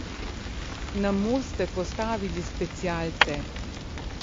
Na most ste postavili specialce.